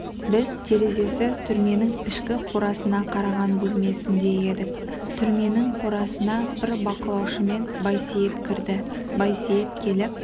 біз терезесі түрменің ішкі қорасына қараған бөлмесінде едік түрменің қорасына бір бақылаушымен байсейіт кірді байсейіт келіп